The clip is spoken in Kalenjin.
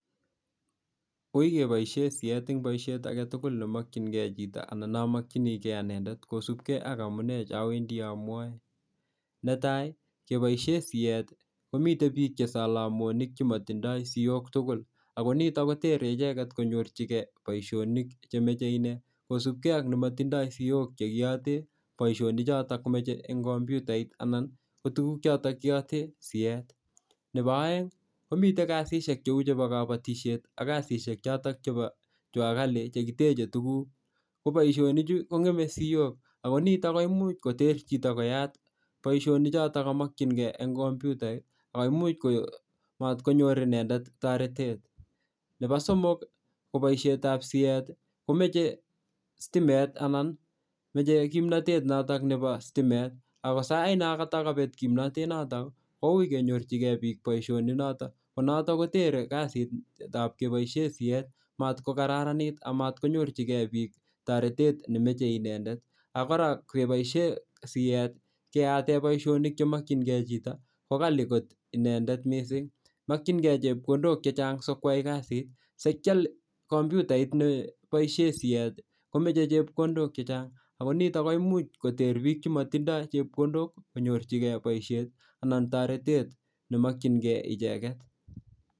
koikeboishen siyet en boishet agetugul nemokyin kee chito anan nomokyini kee anendeti kosupkee ak amunee chowendi amwae netai keboishen siet komiten biik chesolomonik chemotindo siok tugul ako nitok kotere icheket konyorchikee boishonik chemeche inee kosupkei ak nemotindo siok chekiyoten boishoni chotok komoche en komputait ana ko kotuguk choton kiyoten siet nepo oeng komiten kasishek cheu chepo kobotisiet ak kasishek chotok chepo chuakali chekiteche tuguk koboishoni chu kongeme siok ako nitok koimuch koter chito koyat boishionichotok kamokyinkee en komputa oimuch ko mot konyor inendet toretet nepo somok koboishetab sieti komoche sitimet anan moche kimnatet notok nebo sitimet ako sainon kotokee kobet kimnatet notok kouii kenyorchikee biik boishioni notok konotok kotere kazitab keboishen siet matkokararanit amatkonyorchikee biik toretet nemoche inendet ak kora keboishen siet keyaaten boishionik chemokyinkee chito kokali kot inendet mising mokyinkee chepkondok chechang sikwai kazit sikial komputait neboishen sieti komoche chepkondok chechang ako nitok koimuch koter biik chemotindo chepkondok konyorchikeen boishet anan toretet nemokyinkee icheket